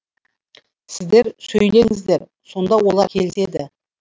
сіздер сөйлеңіздер сонда олар келіседі